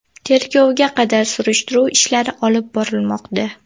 Tergovga qadar surishtiruv ishlari olib borilmoqda.